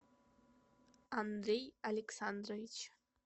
андрей александрович